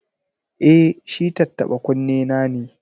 E, shi tattaɓa-kunnena ne.